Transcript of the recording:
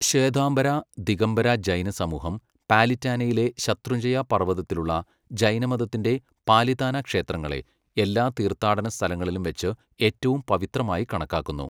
ശ്വേതാംബര, ദിഗംബര ജൈന സമൂഹം പാലിറ്റാനയിലെ ശത്രുഞ്ജയ പർവതത്തിലുള്ള ജൈനമതത്തിന്റെ പാലിതാന ക്ഷേത്രങ്ങളെ, എല്ലാ തീർത്ഥാടന സ്ഥലങ്ങളിലും വെച്ച് ഏറ്റവും പവിത്രമായി കണക്കാക്കുന്നു.